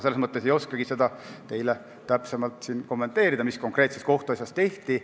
Selles mõttes ma ei oskagi seda siin täpsemalt kommenteerida, mis konkreetses kohtuasjas tehti.